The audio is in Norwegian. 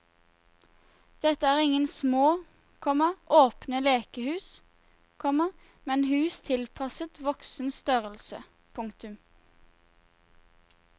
Dette er ingen små, komma åpne lekehus, komma men hus tilpasset voksen størrelse. punktum